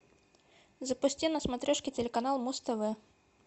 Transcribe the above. запусти на смотрешке телеканал муз тв